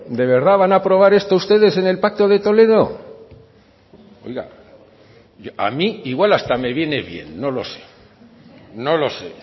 de verdad que van a aprobar esto ustedes en el pacto de toledo oiga a mí igual hasta me viene bien no lo sé no lo sé